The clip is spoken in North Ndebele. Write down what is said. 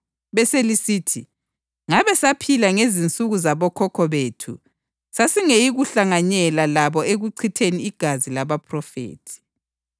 Beselisithi, ‘Ngabe saphila ngezinsuku zabokhokho bethu sasingeyikuhlanganyela labo ekuchitheni igazi labaphrofethi.’